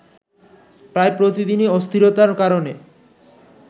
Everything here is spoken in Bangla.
প্রায় প্রতিদিনই অস্থিরতার কারনে